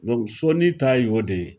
sɔnin ta ye o de ye